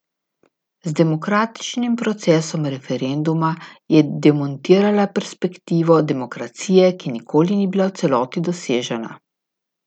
Z demokratičnim procesom referenduma je demontirala perspektivo demokracije, ki nikoli ni bila v celoti dosežena.